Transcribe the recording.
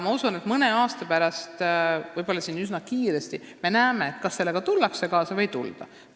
Ma usun, et mõne aasta pärast, võib-olla üsna kiiresti, me näeme, kas sellega tullakse kaasa või ei tulda.